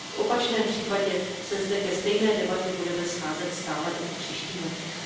V opačném případě se zde ke stejné debatě budeme scházet stále i v příštích letech.